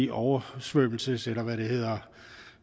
af oversvømmelse